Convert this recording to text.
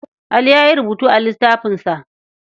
Ali ya yi rubutu a littafinsa.